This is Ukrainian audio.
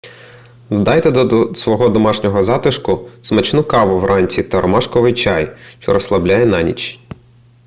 додайте до свого домашнього затишку смачну каву вранці та ромашковий чай що розслабляє на ніч